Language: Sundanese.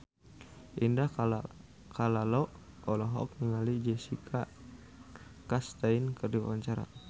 Indah Kalalo olohok ningali Jessica Chastain keur diwawancara